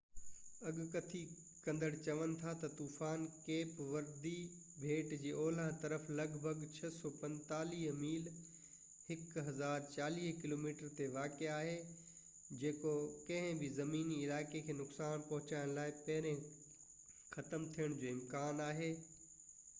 اڳڪٿي ڪندڙ چون ٿا تہ طوفان ڪيپ وردي ٻيٽ جي اولهہ طرف لڳ ڀڳ 645 ميل 1040 ڪلو ميٽر تي واقع آهي، جيڪو ڪنهن بہ زميني علائقي کي نقصان پهچائڻ کان پهرين ختم ٿيڻ جو امڪان آهي